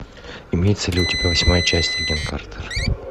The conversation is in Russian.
имеется ли у тебя восьмая часть агент картер